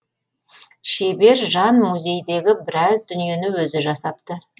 шебер жан музейдегі біраз дүниені өзі жасапты